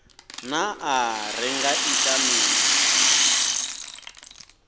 naa ri nga ita mini